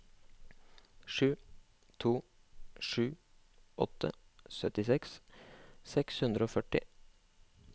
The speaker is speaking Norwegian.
sju to sju åtte syttiseks seks hundre og førti